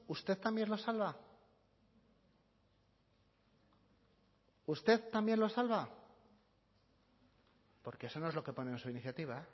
usted también los salva usted también los salva porque eso no es lo que pone en su iniciativa